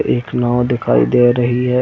एक नाव दिखाई दे रही है।